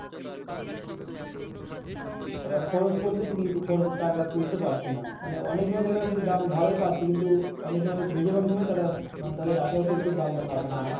তারা খরচ করতেছে কিন্তু খরচের টাকা তুলতে পারতাছে না অনেক সময় দেখা যাচ্ছে যে দাম ভালোই পাচ্ছে কিন্তু অনেক সময়ে বেশির ভাগ সময়ে তারা তাদের আশা অতিরিক্ত দামটা পাচ্ছে না।